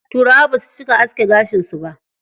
Turawa basu cika aske gashin su ba.